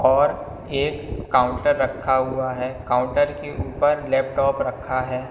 और एक काउंटर रखा हुआ है। काउंटर के ऊपर लैपटॉप रखा है।